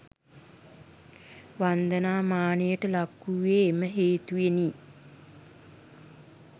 වන්දනා මානයට ලක්වූයේ එම හේතුවෙනි.